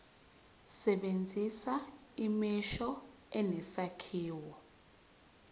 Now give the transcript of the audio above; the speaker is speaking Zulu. sebenzisa imisho enesakhiwo